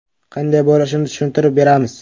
Qanday bo‘lishini tushuntirib beramiz.